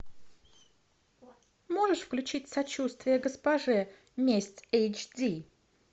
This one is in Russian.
можешь включить сочувствие госпоже месть эйч ди